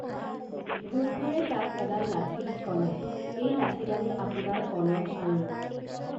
ভূতবোৰে তাক এডাল লাঠি দি কলে এই লাঠিডালে আপোনাৰ কলহ আৰু